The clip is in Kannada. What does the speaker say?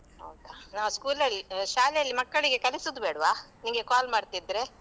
ಹೌದಾ ನಾನ್ school ಅಲ್ಲಿ ಶಾಲೆಯಲ್ಲಿ ಮಕ್ಕಳಿಗೆ ಕಲಿಸುದು ಬೇಡ್ವಾ? ನಿನ್ಗೆ call ಮಾಡ್ತಿದ್ರೆ.